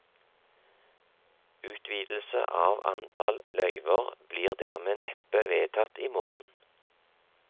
Utvidelse av antall løyver blir dermed neppe vedtatt i morgen.